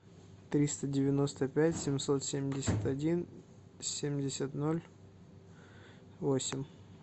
триста девяносто пять семьсот семьдесят один семьдесят ноль восемь